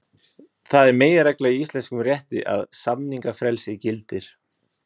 Það er meginregla í íslenskum rétti að samningafrelsi gildir.